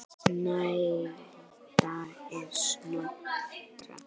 Snælda er Snotra